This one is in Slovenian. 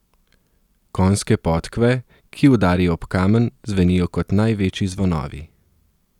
Konjske podkve, ki udarijo ob kamen, zvenijo kot največji zvonovi.